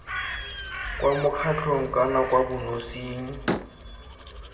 kwa mokgatlhong kana kwa bonosing